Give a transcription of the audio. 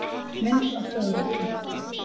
Mynd af hljóðrita.